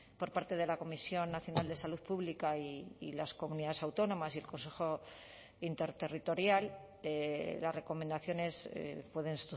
por parte de la comisión nacional de salud pública y las comunidades autónomas y el consejo interterritorial las recomendaciones pueden